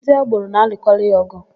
Ndị agboro na-alụkarị ọ̀gụ̀.